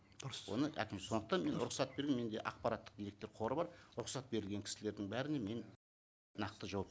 дұрыс оны әкім сондықтан мен рұқсат берген менде ақпараттық электр қоры бар рұқсат берілген кісілердің бәріне мен нақты жауап